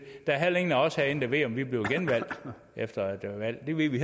der er heller ingen af os herinde der ved om vi bliver genvalgt efter et valg det ved vi